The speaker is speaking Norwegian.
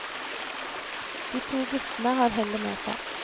De to guttene har hellet med seg.